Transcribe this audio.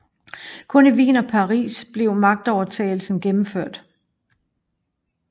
Kun i Wien og Paris blev magtovertagelsen gennemført